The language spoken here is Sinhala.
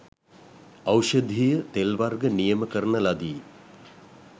ඖෂධීය තෙල් වර්ග නියම කරන ලදී.